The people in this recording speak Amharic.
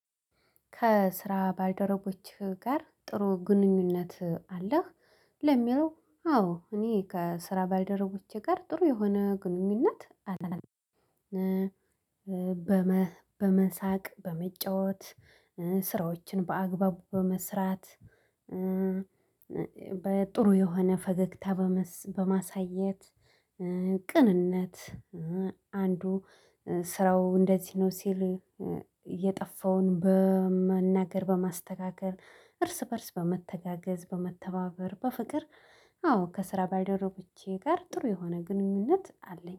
ከስራ ባልደረቦችህ ጋር ጥሩ ግንኙነት አለህ? ለሚለው አዎ እኔ ከስራ ባልደረቦቼ ጋር ጥሩ የሆነ ግንኙነት አለ። እ በመሳቅ በመጫወት እ ስራዎችን በአግባቡ በመስራት እ በጥሩ የሆነ ፈገግታ በመስ በማሳየት ቅንነት እ አንዱ እ ስራው እንደዚህ ነው ሲሉኝ የጠፋውን በእ መናገር በማስተካከል እርስ በእርስ በመተጋገዝ በመተባበር በፍቅር። አዎ ከስራ ባልደረቦቼ ጋር ጥሩ የሆነ ግንኙነት አለኝ።